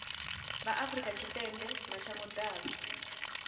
vha afrika tshipembe mashango ḓavha